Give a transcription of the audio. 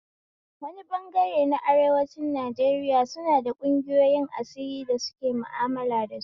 Wani bangare na arewacin Najeriya suna da ƙungiyoyin asiri da suke ma'amala da su